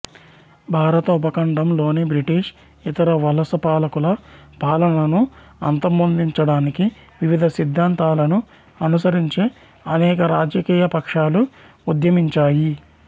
భారత ఉపఖండం లోని బ్రిటిష్ ఇతర వలసపాలకుల పాలనను అంతమొందించటానికి వివిధ సిద్దాంతాలను అనుసరించే అనేక రాజకీయపక్షాలు ఉద్యమించాయి